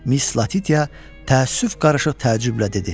Miss Latitya təəssüf qarışıq təəccüblə dedi.